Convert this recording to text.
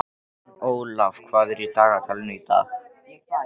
Ólaf, hvað er í dagatalinu í dag?